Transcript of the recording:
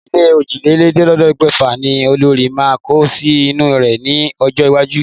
Ilé òjìlélẹ̀ẹ́dẹ́gbẹ̀fà ní olórí máa kọ́ sí ìlú rẹ̀ ní ọjọ́ iwájú.